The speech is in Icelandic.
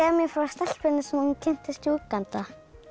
frá stelpunni sem þú kynntist í Úganda